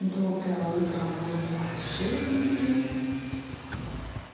доброе утро мои волшебники